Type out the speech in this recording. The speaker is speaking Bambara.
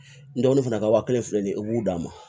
N dɔgɔnin fana ka wa kelen filɛ nin ye i b'u d'a ma